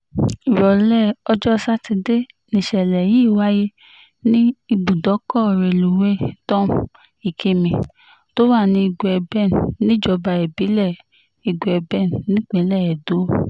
ìrọ̀lẹ́ ọjọ́ sátidé nìṣẹ̀lẹ̀ yìí wáyé ní ibùdókọ̀ rélùwéè tom ikimí tó wà ní igueben níjọba ìbílẹ̀ igueben nípìnlẹ̀ edo